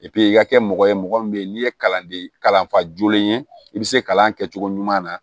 i ka kɛ mɔgɔ ye mɔgɔ min bɛ yen n'i ye kalanden kalanfa jolen ye i bɛ se kalan kɛcogo ɲuman na